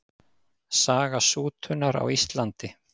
Saga sútunar á Íslandi.